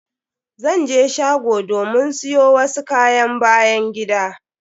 Zan je shgo domin siyo wasu kayan byan gida.